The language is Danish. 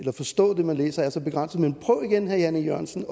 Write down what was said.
forstå det man læser er så begrænset men prøv igen herre jan e jørgensen